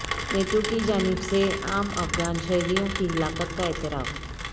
NATO کی جانب سے عام افغان شہریوں کی ہلاکت کا اعتراف